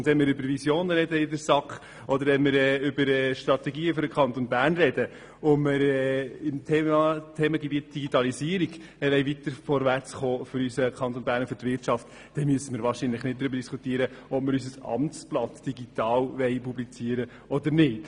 Und wenn wir in der SAK über Visionen oder Strategien für den Kanton Bern sprechen und beim Thema Digitalisierung für unseren Kanton und seine Wirtschaft weiter vorwärtskommen wollen, so müssen wir hier wahrscheinlich nicht darüber diskutieren, ob wir unser Amtsblatt digital publizieren wollen oder nicht.